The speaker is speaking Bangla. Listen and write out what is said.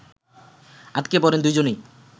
আটকা পড়েন দুজনই